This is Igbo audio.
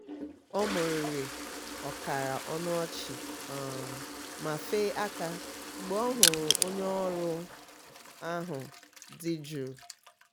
o mumuru ọkara ọnụ ọchị um ma fee aka mgbe ọ hụrụ onye ọrụ um ahụ dị jụụ. um